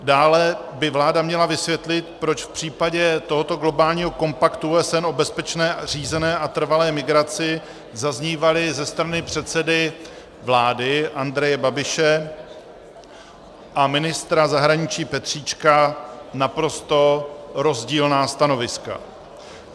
Dále by vláda měla vysvětlit, proč v případě tohoto globálního kompaktu OSN o bezpečné, řízené a trvalé migraci zaznívala ze strany předsedy vlády Andreje Babiše a ministra zahraničí Petříčka naprosto rozdílná stanoviska.